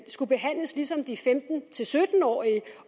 skulle behandles ligesom de femten til sytten årige